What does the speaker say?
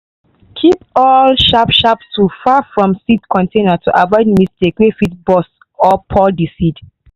keep all sharp sharp tool far from seed container to avoid mistake wey fit burst or pour the seed.